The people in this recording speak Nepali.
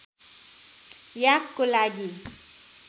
याकको लागि